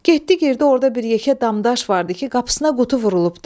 Getdi girdi orda bir yekə damdaş vardı ki, qapısına qutu vurulubdur.